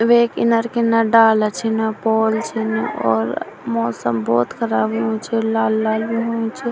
वेक इनर किनर डाला छिन पोल छिन और मौसम भोत ख़राब होणु च लाल लाल होणु च।